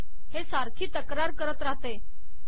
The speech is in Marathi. हे सारखी तक्रार करीत रहाते